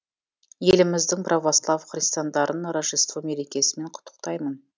еліміздің православ христиандарын рождество мерекесімен құттықтаймын